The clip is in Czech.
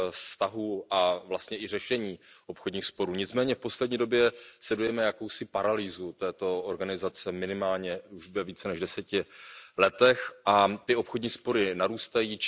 vztahů a vlastně i řešení obchodních sporů, nicméně v poslední době sledujeme jakousi paralýzu této organizace, minimálně už ve více než 10 letech a ty obchodní spory narůstají.